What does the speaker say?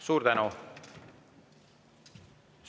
Suur tänu!